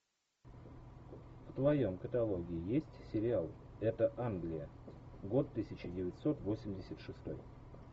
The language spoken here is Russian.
в твоем каталоге есть сериал это англия год тысяча девятьсот восемьдесят шестой